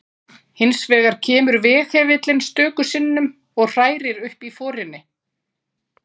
Hinsvegar kemur veghefillinn stöku sinnum og hrærir upp forinni.